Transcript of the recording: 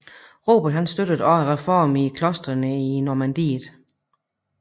Robert støttede også reformer i klostrene i Normandiet